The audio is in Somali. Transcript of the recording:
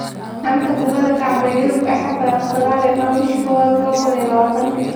Xanta Kubadda Cagta Yurub Axad 19.01.2020: Can, Werner, Guardiola, Koulibaly,, Van de Beek